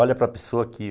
Olha para a pessoa aqui.